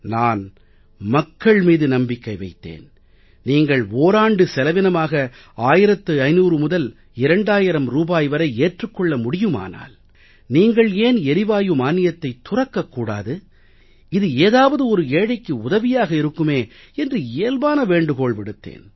நான் மக்கள் மீது நம்பிக்கை வைத்தேன் நீங்கள் ஓராண்டு செலவினமாக 1500 முதல் 2000 ரூபாய் வரை ஏற்றுக் கொள்ள முடியுமானால் நீங்கள் ஏன் எரிவாயு மானியத்தைத் துறக்கக் கூடாது இது ஏதாவது ஒரு ஏழைக்கு உதவியாக இருக்குமே என்று இயல்பான வேண்டுகோள் விடுத்தேன்